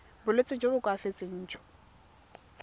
bolwetsi jo bo koafatsang jo